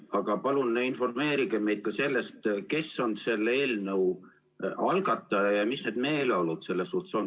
Aga palun informeerige meid ka sellest, kes on selle eelnõu algataja ja mis need meeleolud selles suhtes on.